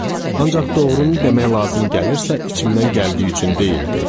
Ancaq doğrunu demək lazım gəlirsə, içimdən gəldiyi üçün deyildi.